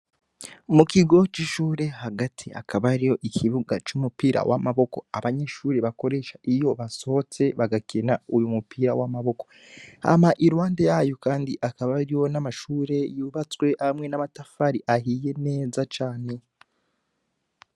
Mu kigo c'ishure hagati akaba ari yo ikibuga c'umupira w'amaboko abanyeshure bakoresha iyo basohotse bagakina uyu mupira w'amaboko hama i ruhande yayo, kandi akaba ari yo n'amashure yubatswe hamwe n'amatafari ahiye neza cane.